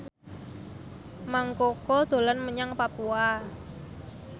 Mang Koko dolan menyang Papua